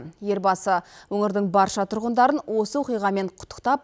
елбасы өңірдің барша тұрғындарын осы оқиғамен құттықтап